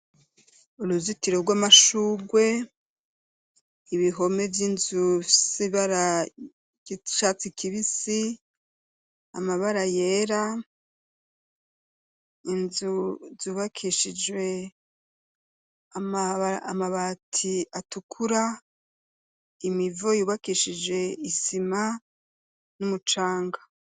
Uruzitiro rw'amashurwe, ibihome vy'inzu bifise ibara ry'icatsi kibisi, amabara yera, inzu z'ubakishijwe amabati atukura, imivo yubakishije isima n'umucanga.